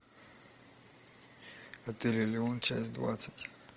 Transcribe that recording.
отель элеон часть двадцать